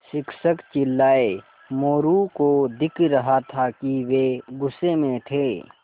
शिक्षक चिल्लाये मोरू को दिख रहा था कि वे गुस्से में थे